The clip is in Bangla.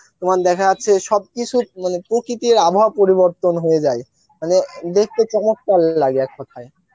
তোমার দেখা যাচ্ছে সব কিছু মানে প্রকিতির আবহাওয়া পরিবর্তন হয়ে যায় মানে দেখতে চমত্কার লাগে এক কোথায়,